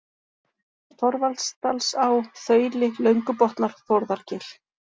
Þorvaldsdalsá, Þauli, Löngubotnar, Þórðargil